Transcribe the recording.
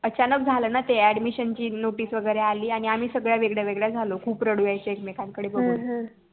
अचानक झाल होत न ते ADMISSION ची NOTICE वगैरे आली आणि आम्ही सगळ्या वेगळ्या वेगळ्या झालो खूप रडू यायचं एकमेकांकडे बघून